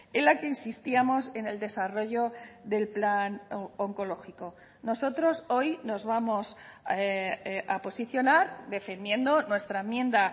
en la que insistíamos en el desarrollo del plan oncológico nosotros hoy nos vamos a posicionar defendiendo nuestra enmienda